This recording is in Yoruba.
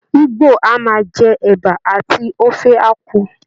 Igbo a máa jẹ Ẹ̀ba àti Ofe Akwu